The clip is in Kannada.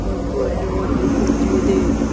ಮತ್ತು ಇಲ್ಲಿ ಒಂದು ಕುರ್ಜಿ ಇದೆ.